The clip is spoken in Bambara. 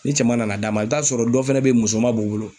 Ni cɛman nana d'a ma i be t'a sɔrɔ dɔ fɛnɛ be yen musoman b'o bolo